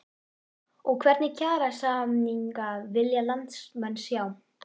Og hvernig kjarasamninga vilja landsmenn sjá?